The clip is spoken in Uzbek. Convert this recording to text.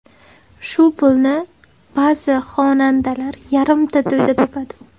Shu pulni ba’zi xonandalar yarimta to‘yda topadi.